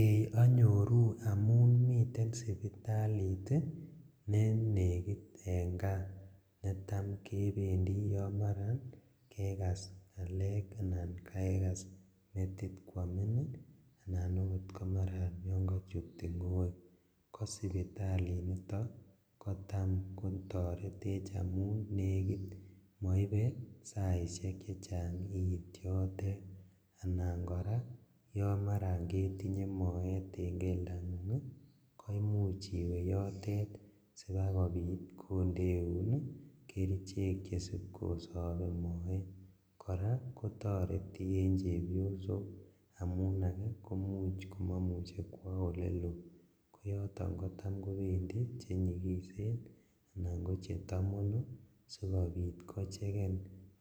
Ee onyoru amun miten sipitalit nenekit en kaa netam kebendi yon maran kekas lalet anan kekas metit kwamin ii anan oot yon maran kochut tingoek kosipitalinito kotam kotoretech amun nekit moibe saishek chechang iit yotet, anan koraa yon maran ketinye moet en keldangung koimuch iwe yotet sibakobit kondeun kerichek chesip kosobe moet, koraa kotoreti en chepyosok amun ake koimuch komomuche kwo elelo koyoton kotam kobendi chenyikisen alan kochetomono sikobit kocheken